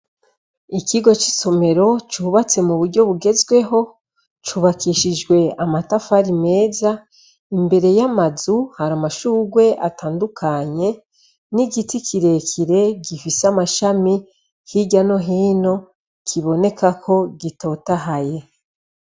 Ikigo cy'isomero cyubatse mu buryo bugezweho cubakishijwe amatafari meza imbere y'amazu hari amashugwe atandukanye n'igiti kirekire gifise amashami hirya no hino kiboneka ko gitotahaye.